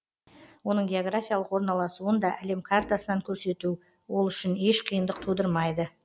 оның географиялық орналасуын да әлем картасынан көрсету ол үшін еш қиындық тудырмайды